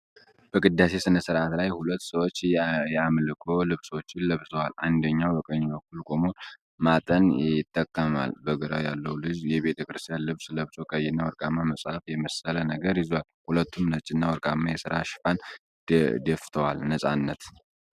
በቅዳሴ ስነ-ስርዓት ላይ ሁለት ሰዎች የአምልኮ ልብሶች ለብሰዋል፤ አንደኛው በቀኝ በኩል ቆሞ ማጠን ይጠቀማል። በግራ ያለው ልጅ የቤተክርስቲያን ልብስ ለብሶ፣ ቀይና ወርቃማ መጽሃፍ የመሰለ ነገር ይዟል። ሁለቱም ነጭ እና ወርቃማ የራስ-ሽፋን ደፍተዋል። ነፃነት።